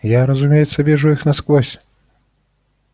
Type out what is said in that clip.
я разумеется вижу их насквозь